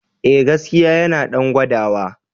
E, gaskiya yana ɗan gwadawa.